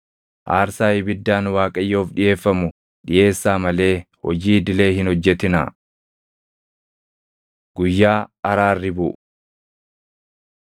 Aarsaa ibiddaan Waaqayyoof dhiʼeeffamu dhiʼeessaa malee hojii idilee hin hojjetinaa.’ ” Guyyaa Araarri Buʼu 23:26‑32 kwf – Lew 16:2‑34; Lak 29:7‑11